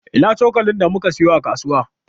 Ina cokalin da muka siyo a kasuwa?